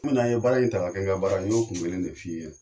Kun min an ye baara in ta ka kɛ n ka baara ye n y'o kun kelen de f'i ye.